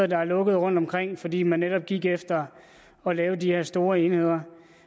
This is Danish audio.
der er lukket rundtomkring fordi man netop kigger efter at lave de her store enheder